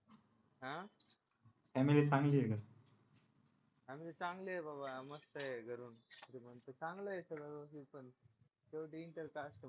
आ family चांगली आहे का फॅमिली चांगले आहे बाबा मस्त आहे घरून चांगला आहे सगळं पण शेवटी इंटरकास्ट म्हटल्यावर